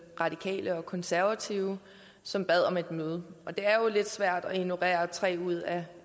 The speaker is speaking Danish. radikale og konservative som bad om et møde det er jo lidt svært at ignorere tre ud af